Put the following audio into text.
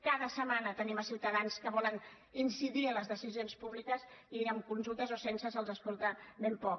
cada setmana tenim ciutadans que volen incidir en les decisions públiques i amb consultes o sense se’ls escolta ben poc